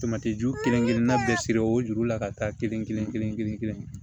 Tomati ju kelen-kelennan bɛɛ siri o juru la ka taa kelen kelen kelen kelen kelen